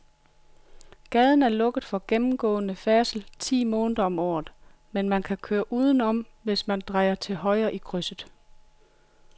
Gaden er lukket for gennemgående færdsel ti måneder om året, men man kan køre udenom, hvis man drejer til højre i krydset.